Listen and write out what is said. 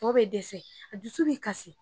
bɛ dɛsɛ a dusu bɛ kasi.